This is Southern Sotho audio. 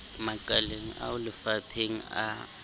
makaleng ao le mafapheng a